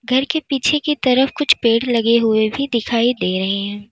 घर के पीछे की तरफ कुछ पेड़ लगे हुए भी दिखाई दे रहे हैं।